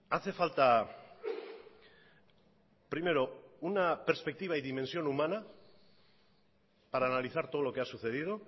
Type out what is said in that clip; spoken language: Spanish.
hace falta primero una perspectiva y dimensión humana para analizar todo lo que ha sucedido